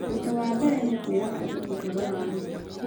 "Ũndũ wa mbere nĩ kwĩra andũ ũhoro wa ma.